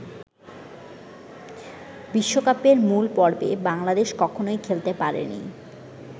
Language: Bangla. বিশ্বকাপের মূল পর্বে বাংলাদেশ কখনোই খেলতে পারেনি।